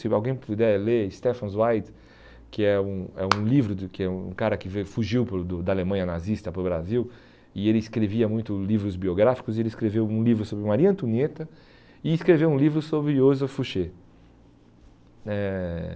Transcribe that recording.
Se alguém puder ler, Stefan Zweig, que é um é um livro do que um cara que veio fugiu para o do da Alemanha nazista para o Brasil, e ele escrevia muito livros biográficos, e ele escreveu um livro sobre Maria Antonieta e escreveu um livro sobre Joseph Fouché. Eh